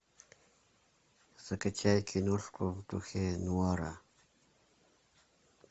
закачай киношку в духе нуара